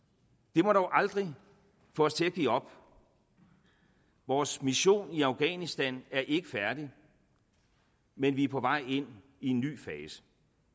det må dog aldrig få os til at give op vores mission i afghanistan er ikke færdig men vi er på vej ind i en ny fase